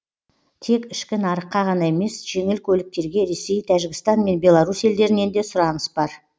тек ішкі нарыққа ғана емес жеңіл көліктерге ресей тәжікстан мен белорусь елдерінен де сұраныс бар